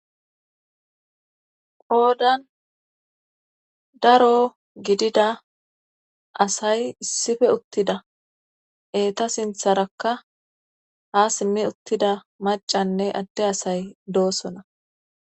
Qoodan daro gidida asay issiope uttida eeta sintharakka haa simmi uttttida maccanne adde asay dooson.